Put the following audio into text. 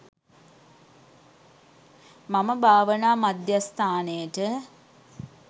මම භාවනා මධ්‍යස්ථානයට